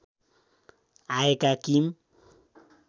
आएका किम